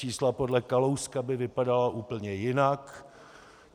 Čísla podle Kalouska by vypadala úplně jinak.